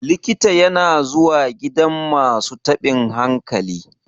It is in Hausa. likita yana zuwa gidan masu tabin hankali